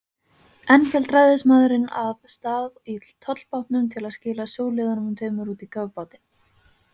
Enn hélt ræðismaðurinn af stað í tollbátnum til að skila sjóliðunum tveimur út í kafbátinn.